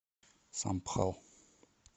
самбхал